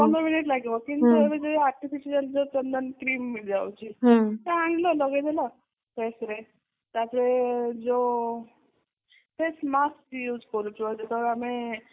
ପନ୍ଦର minute ଲାଗିବ କିନ୍ତୁ ଏବେ ଯୋଉ artificial ଚନ୍ଦନ cream ମିଳି ଯାଉଛି ଆଣିଲ ଲଗେଇଦେଲ face ରେ ତାପରେ ଯୋଉ face mask use କରୁଚ ଯେତେବେଳେ ଆମେ